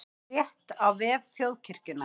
Frétt á vef Þjóðkirkjunnar